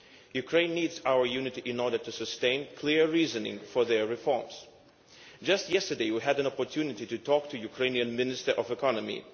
Ukraine needs our unity in order to sustain clear reasoning for their reforms. Just yesterday, we had an opportunity to talk to the Ukrainian Minister of the Economy.